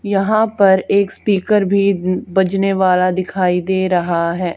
यहां पर एक स्पीकर भी बजाने वाला दिखाई दे रहा है।